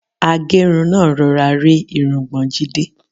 Agẹ́run náà rọra rẹ́ irungbọ̀n Jídé.